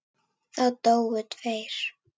Það dóu tveir.